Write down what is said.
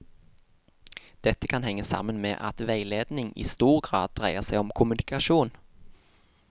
Dette kan henge sammen med at veiledning i stor grad dreier seg om kommunikasjon.